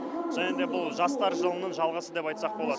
және де бұл жастар жылының жалғасы деп айтсақ болады